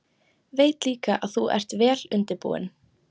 Veit líka að þú ert vel undirbúinn.